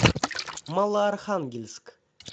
малоархангельск